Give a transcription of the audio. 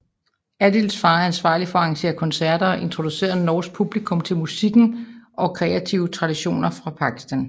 Adils far er ansvarlig for at arrangere koncerter og introducere norsk publikum til musikken og kreative traditioner fra Pakistan